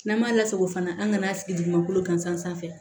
N'an m'a lasago fana an kana sigi dugumakolo gansan sanfɛ